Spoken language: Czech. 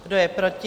Kdo je proti?